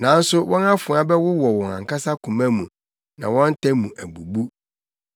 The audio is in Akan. Nanso wɔn afoa bɛwowɔ wɔn ankasa koma mu, na wɔn ta mu abubu.